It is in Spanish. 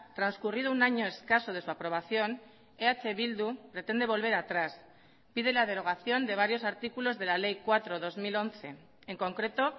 transcurrido un año escaso de su aprobación eh bildu pretende volver atrás pide la derogación de varios artículos de la ley cuatro barra dos mil once en concreto